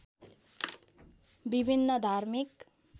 विभिन्न धार्मिक